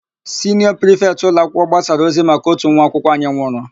Siniọ prifetị ụlọakwụkwọ gbasara ozi maka ótù nwa akwụkwọ anyị nwụrụ.